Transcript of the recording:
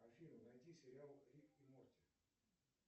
афина найди сериал рик и морти